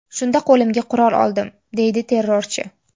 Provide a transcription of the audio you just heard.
Shunda qo‘limga qurol oldim”, deydi terrorchi.